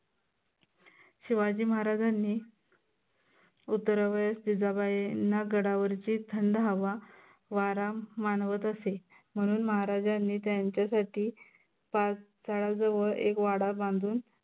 शिवाजी महाराजांनी उतरवयेस जिजाबाईंना गडावरची थंड हवा, वारा मानवत असे. म्हनून महाराजांनी त्यांच्यासाठी पाच जवळ वाडा बांधून